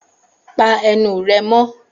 Pa ẹnu rẹ mọ́!